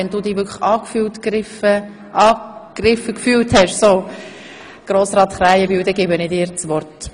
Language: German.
Wenn du dich also wirklich angegriffen gefühlt hast, Samuel Krähenbühl, gebe ich dir das Wort.